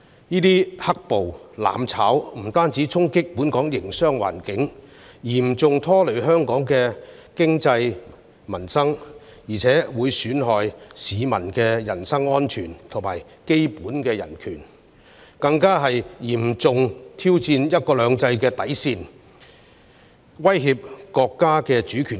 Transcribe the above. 這些"黑暴"、"攬炒"，不單衝擊本港營商環境，嚴重拖累香港的經濟、民生，並損害市民的人身安全及基本人權，更嚴重挑戰"一國兩制"的底線及威脅國家的主權。